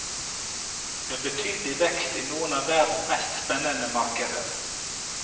Vi har betydelig vekst i noen av verdens mest spennende markeder.